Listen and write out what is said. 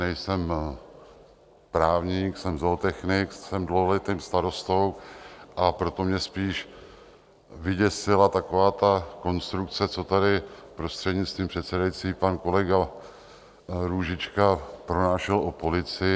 Nejsem právník, jsem zootechnik, jsem dlouholetým starostou, a proto mě spíš vyděsila taková ta konstrukce, co tady - prostřednictvím předsedající - pan kolega Růžička pronášel o policii.